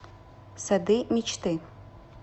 сады мечты